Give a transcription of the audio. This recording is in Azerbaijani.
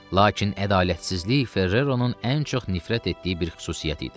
Lakin ədalətsizlik Ferreronun ən çox nifrət etdiyi bir xüsusiyyət idi.